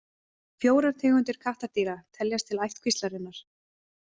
Fjórar tegundir kattardýra teljast til ættkvíslarinnar.